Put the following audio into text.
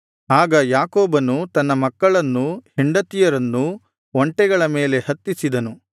ಆಗ ಯಾಕೋಬನು ತನ್ನ ಮಕ್ಕಳನ್ನೂ ಹೆಂಡತಿಯರನ್ನೂ ಒಂಟೆಗಳ ಮೇಲೆ ಹತ್ತಿಸಿದನು